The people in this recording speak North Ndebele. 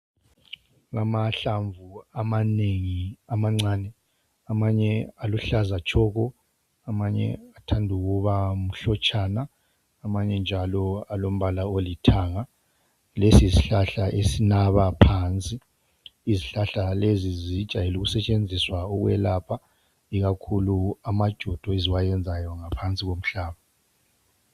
Amahlamvu amanengi amancane. Amanye aluhlaza tshoko, amanye athand' ukuba mhlotshana, amanye njalo alombala olithanga. Lesi yishlahla esnaba phansi. Izhlahla lezi zijayel' ukusetshenziswa ukwelapha, ikakhulu amajodo eziwayenzayo ngaphansi komhlaba.